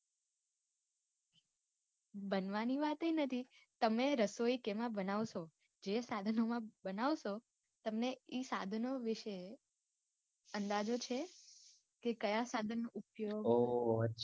બનવાની વાતય નથી તમે રસોઈ કેમાં બનાવશો જે સાધનો માં બનાવશો તમને ઇ સાધનો વિષે અંદાજો છે કે કયા સાધન નો ઉપયોગ ઓહ